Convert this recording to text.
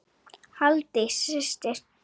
Halldís systir.